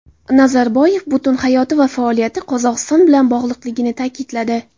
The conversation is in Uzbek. Nazarboyev butun hayoti va faoliyati Qozog‘iston bilan bog‘liqligini ta’kidladi.